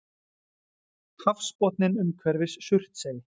Hafsbotninn umhverfis Surtsey.